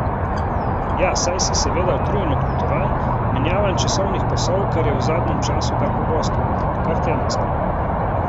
Ja, saj si seveda utrujen od potovanj, menjavanj časovnih pasov, kar je v zadnjem času kar pogosto, kar tedensko.